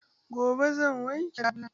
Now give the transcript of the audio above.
Gobe zan wanke labulan.